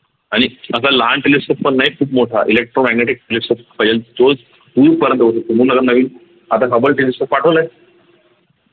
आणि असा लहान telescope पण नाही खूप मोठा electromagnetic म्हणून आता नवीन आता Hubbletelescope पाठवलाय